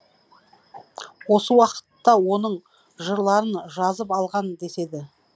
осы уақытта оның жырларын жазып алған деседі